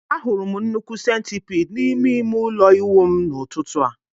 Ahụrụ m nnukwu centipide n'ime ime ụlọ ịwụ m n'ụtụtụ a